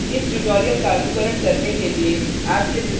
इस tutorial का अनुकरण करने के लिए